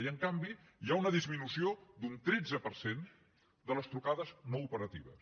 i en canvi hi ha una disminució d’un tretze per cent de les trucades no operatives